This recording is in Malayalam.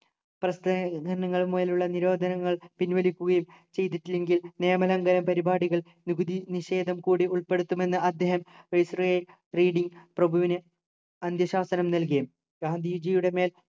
പ്രസിദ്ധീകരണങ്ങളിലുള്ള നിരോധനങ്ങൾ പിൻവലിക്കുകയും ചെയ്തിട്ടില്ലെങ്കിൽ നിയമലംഘന പരിപാടികൾ നികുതി നിഷേധം കൂടി ഉൾപ്പെടുത്തുമെന്ന് അദ്ദേഹം viceroy റീഡിങ് പ്രഭുവിനെ അന്ത്യശാസനം നൽകി ഗാന്ധിജിയുടെ മേൽ